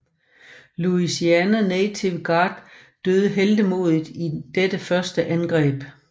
Louisiana Native Guard døde heltemodigt i dette første angreb